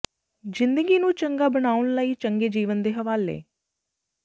ਜ਼ਿੰਦਗੀ ਨੂੰ ਚੰਗਾ ਬਣਾਉਣ ਲਈ ਚੰਗੇ ਜੀਵਨ ਦੇ ਹਵਾਲੇ